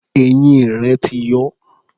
Eyín rẹ̀ ti yọ.